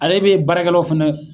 Ale be baarakɛlaw fɛnɛ